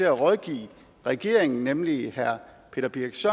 at rådgive regeringen nemlig peter birch